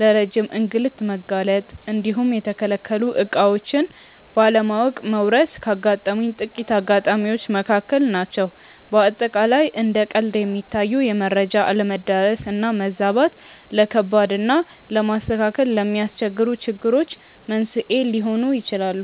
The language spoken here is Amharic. ለረጅም እንግልት መጋለጥ እንዲሁም የተከለከሉ ዕቃዎችን ባለማወቅ መወረስ ካጋጠሙኝ ጥቂት አጋጣሚዎች መካከል ናቸው። በአጠቃላይ እንደ ቀልድ የሚታዩ የመረጃ አለመዳረስ እና መዛባት፣ ለከባድ እና ለማስተካከል ለሚያስቸግሩ ችግሮች መንስኤ ሊሆኑ ይችላሉ።